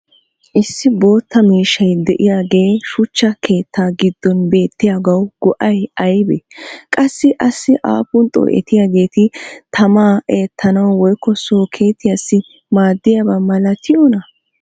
Issi bootta miishshay diyaagee shuchcha keettaa giddon beettiyaagawu go'ay aybee? Qassi asi aappun xoo'ettidiyaageeti tamaa eettanawu woykko sookkeettiyaassi maadiyaba malattiyoonaa?